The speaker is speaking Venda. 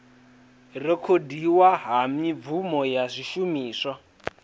rekhodiwa ha mibvumo na zwishumiswa